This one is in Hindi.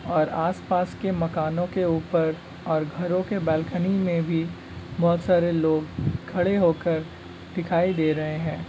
और आसपास के मकानों के ऊपर और घरो के बालकनी में भी बहोत सारे लोग खड़े होकर दिखाई दे रहे हैं।